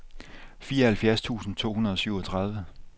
fireoghalvfjerds tusind to hundrede og syvogtredive